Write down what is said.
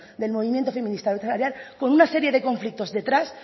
del movimiento feminista de brecha salarial con una serie de conflictos detrás